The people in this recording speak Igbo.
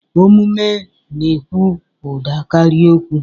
Omume na-ekwu ụda karịa okwu.